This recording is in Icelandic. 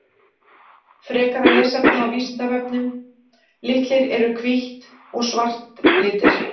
Frekara lesefni á Vísindavefnum Litir Eru hvítt og svart litir?